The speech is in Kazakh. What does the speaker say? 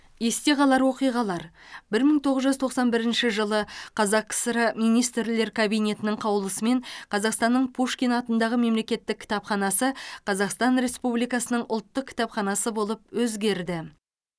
есте қалар оқиғалар бір мың тоғыз жүз тоқсан бірінші жылы қазақ кср министрлер кабинетінің қаулысымен қазақстанның пушкин атындағы мемлекеттік кітапханасы қазақстан республикасының ұлттық кітапханасы болып өзгерді